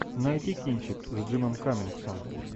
найти кинчик с джимом каммингсом